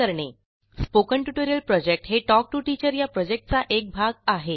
spoken tutorial project हे talk to teacher या प्रॉजेक्टचा एक भाग आहे